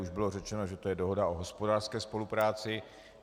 Už bylo řečeno, že to je dohoda o hospodářské spolupráci.